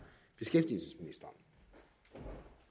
det